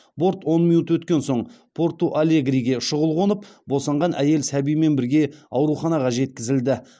борт он минут өткен соң порту алегриге шұғыл қонып босанған әйел сәбимен бірге ауруханаға жеткізілді